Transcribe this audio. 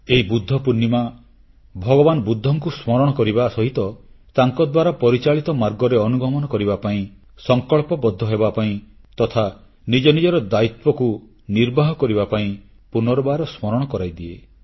ଏହି ବୁଦ୍ଧ ପୂର୍ଣ୍ଣିମା ଭଗବାନ ବୁଦ୍ଧଙ୍କୁ ସ୍ମରଣ କରିବା ସହିତ ତାଙ୍କଦ୍ୱାରା ପରିଚାଳିତ ମାର୍ଗରେ ଅନୁଗମନ କରିବା ପାଇଁ ସଂକଳ୍ପବଦ୍ଧ ହେବାପାଇଁ ତଥା ନିଜ ନିଜର ଦାୟିତ୍ୱକୁ ନିର୍ବାହ କରିବା ପାଇଁ ପୁନର୍ବାର ସ୍ମରଣ କରାଇଦିଏ